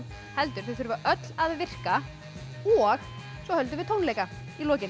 heldur þau þurfa öll að virka og svo höldum við tónleika í lokin